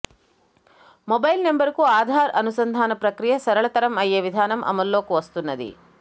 mobile నెంబరుకు ఆధార్ అనుసంధాన ప్రక్రియ సరళతరం అయ్యే విధానం అమల్లోకి వస్తున్నది